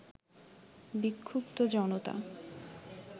বিক্ষুদ্ধ জনতা